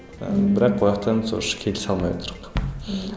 ыыы бірақ ояқтан сол еш келісе алмай отырық